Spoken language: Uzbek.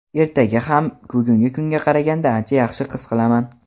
ertaga ham bugungi kunga qaraganda ancha yaxshi his qilaman.